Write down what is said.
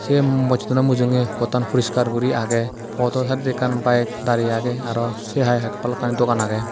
ye mojjid tani mujunge pottan puriskar guri agey poto subjectan bike dare agey aro se hai balukkani dogan agey.